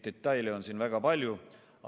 Detaile on väga palju.